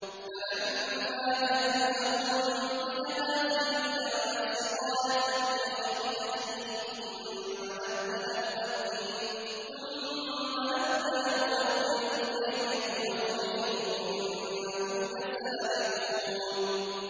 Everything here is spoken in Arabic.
فَلَمَّا جَهَّزَهُم بِجَهَازِهِمْ جَعَلَ السِّقَايَةَ فِي رَحْلِ أَخِيهِ ثُمَّ أَذَّنَ مُؤَذِّنٌ أَيَّتُهَا الْعِيرُ إِنَّكُمْ لَسَارِقُونَ